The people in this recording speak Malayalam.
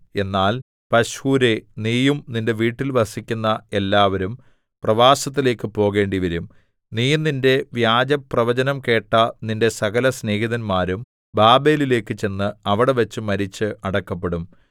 എന്നാൽ പശ്ഹൂരേ നീയും നിന്റെ വീട്ടിൽ വസിക്കുന്ന എല്ലാവരും പ്രവാസത്തിലേക്കു പോകേണ്ടിവരും നീയും നിന്റെ വ്യാജപ്രവചനം കേട്ട നിന്റെ സകലസ്നേഹിതന്മാരും ബാബേലിലേക്കു ചെന്ന് അവിടെവച്ച് മരിച്ച് അടക്കപ്പെടും